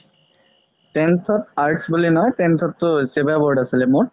tenth ত arts বুলি নহয় tenth তো SEBA board আছিলে মোৰ